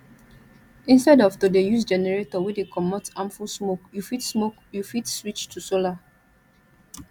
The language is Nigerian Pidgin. instead of to de use generator wey de comot harmful smoke you fit smoke you fit switch to solar